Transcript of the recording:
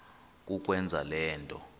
kukwenza le nto